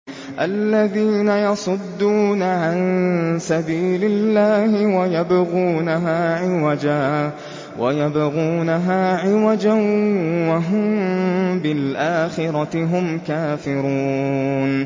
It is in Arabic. الَّذِينَ يَصُدُّونَ عَن سَبِيلِ اللَّهِ وَيَبْغُونَهَا عِوَجًا وَهُم بِالْآخِرَةِ هُمْ كَافِرُونَ